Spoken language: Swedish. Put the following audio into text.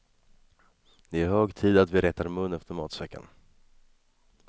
Det är hög tid att vi rättar mun efter matsäcken.